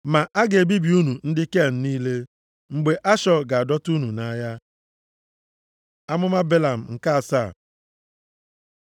Ma, a ga-ebibi unu ndị Ken niile, mgbe Ashọ ga-adọta unu nʼagha.” Amụma Belam nke asaa